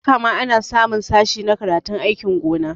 Haka ma ana samun sashe na karatun aikin gona